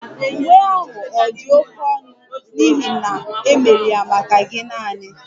Uwe ahụ ọ̀ dị oké ọnụ n'ihi na e mere ya maka gi naani?